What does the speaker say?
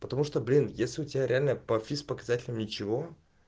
потому что блин в детстве у тебя реально по физ показателям ничего